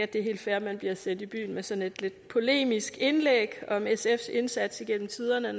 det er helt fair at man bliver sendt i byen med sådan et lidt polemisk indlæg om sfs indsats gennem tiderne